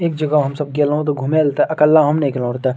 एक जगह हम सब गेलो ते घूमे ले ते अकेला हम ने गेलों रहे ते।